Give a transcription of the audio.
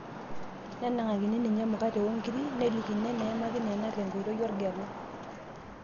Nenang'akini ninye emukate okiri nelikini enaimaki neno tenkoitoi orgela.